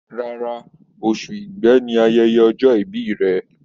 Rárá, oṣù Igbe ni ayẹyẹ ọjọ́ ìbí rẹ̀.